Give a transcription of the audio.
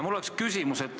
Mul on küsimus.